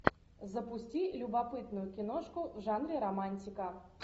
запусти любопытную киношку в жанре романтика